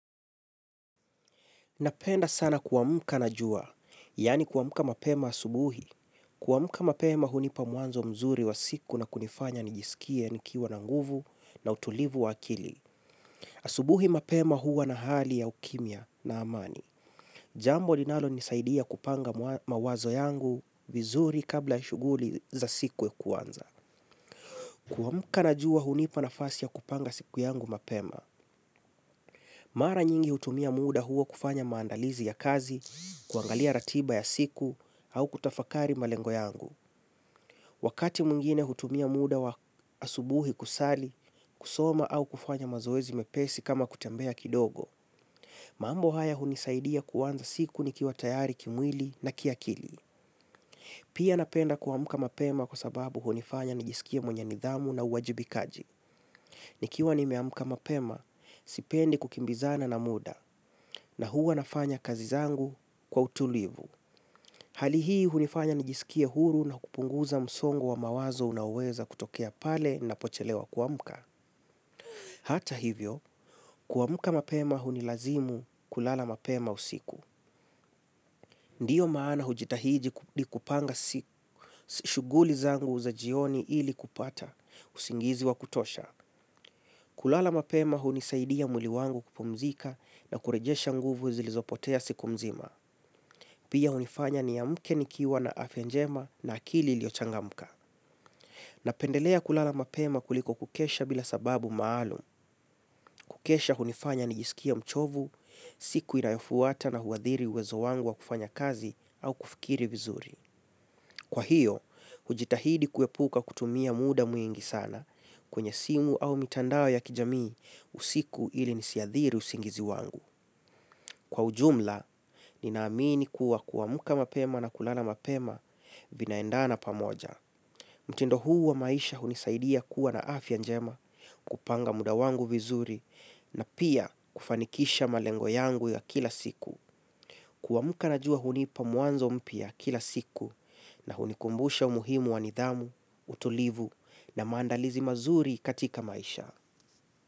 Napenda sana kuamka na jua, yani kuamka mapema asubuhi. Kuamka mapema hunipa mwanzo mzuri wa siku na kunifanya nijisikie nikiwa na nguvu na utulivu wa akili. Asubuhi mapema huwa na hali ya ukimya na amani. Jambo linalo nisaidia kupanga mawazo yangu vizuri kabla shuguli za siku ya kuanza. Kuamuka na jua hunipa nafasi ya kupanga siku yangu mapema. Mara nyingi hutumia muda huo kufanya maandalizi ya kazi, kuangalia ratiba ya siku, au kutafakari malengo yangu. Wakati mwingine hutumia muda wa asubuhi kusali, kusoma au kufanya mazoezi mepesi kama kutembea kidogo, mambo haya hunisaidia kuanza siku nikiwa tayari kimwili na kiakili. Pia napenda kuamka mapema kwa sababu hunifanya nijisikie mwenye nidhamu na uwajibikaji. Nikiwa nimeamka mapema, sipendi kukimbizana na muda, na huwa nafanya kazi zangu kwa utulivu. Hali hii hunifanya nijisikie huru na kupunguza msongo wa mawazo unaoweza kutokea pale napochelewa kuamka. Hata hivyo, kuamka mapema hunilazimu kulala mapema usiku. Ndio maana hujitahidi kupanga shuguli zangu za jioni ili kupata usingizi wa kutosha. Kulala mapema hunisaidia mwili wangu kupumzika na kurejesha nguvu zilizopotea siku mzima. Pia hunifanya niamke nikiwa na afya njema na akili iliyochangamka. Napendelea kulala mapema kuliko kukesha bila sababu maalum. Kukesha hunifanya nijisikie mchovu, siku inayofuata na huathiri uwezo wangu wa kufanya kazi au kufikiri vizuri. Kwa hiyo, hujitahidi kuepuka kutumia muda mwingi sana kwenye simu au mitandao ya kijamii usiku ili nisiathiri usingizi wangu. Kwa ujumla, ninaamini kuwa kuamuka mapema na kulala mapema vinaendana pamoja. Mtindo huu wa maisha hunisaidia kuwa na afya njema kupanga muda wangu vizuri na pia kufanikisha malengo yangu ya kila siku. Kuamka na jua hunipa mwanzo mpya kila siku na hunikumbusha umuhimu wa nidhamu, utulivu na maandalizi mazuri katika maisha.